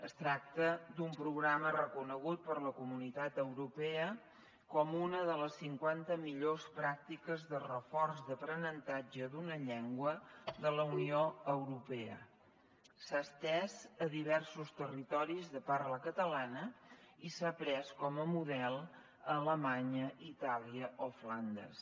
es tracta d’un programa reconegut per la comunitat europea com una de les cinquanta millors pràctiques de reforç d’aprenentatge d’una llengua de la unió europea s’ha estès a diversos territoris de parla catalana i s’ha pres com a model a alemanya itàlia o flandes